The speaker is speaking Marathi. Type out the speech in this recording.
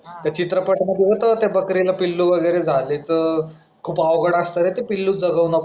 त्या चित्रपटांमध्ये होतं त्या बकरीला पिल्लू वगैरे झालेत अं खूप अवघड असतं रे ते पिल्लू जगवणं.